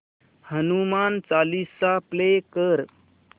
Hanuman Chalisa play कर